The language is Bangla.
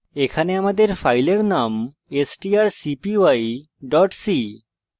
দ্রষ্টব্য যে আমাদের file name strcpy c